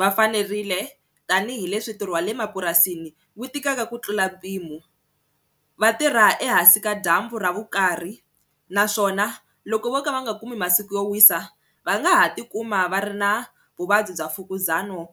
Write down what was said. Va fanerile tanihileswi ntirho wa le mapurasini wu tikaka ku tlula mpimo va tirha ehansi ka dyambu ra vukarhi naswona loko vo ka va nga kumi masiku yo wisa va nga ha tikuma va ri na vuvabyi bya mfukuzano wo